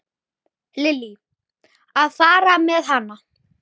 Lillý: Að fara með hana?